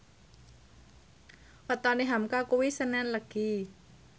wetone hamka kuwi senen Legi